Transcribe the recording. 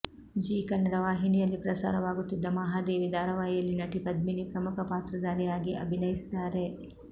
ಜೀ ಕನ್ನಡ ವಾಹಿನಿಯಲ್ಲಿ ಪ್ರಸಾರವಾಗುತ್ತಿದ್ದ ಮಹಾದೇವಿ ಧಾರಾವಾಹಿಯಲ್ಲಿ ನಟಿ ಪದ್ಮಿನಿ ಪ್ರಮುಖ ಪಾತ್ರಧಾರಿಯಾಗಿ ಅಭಿನಯಿಸಿದ್ದಾರೆ